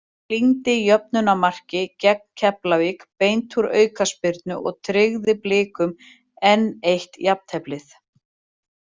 Klíndi jöfnunarmarki gegn Keflavík beint úr aukaspyrnu og tryggði Blikum enn eitt jafnteflið.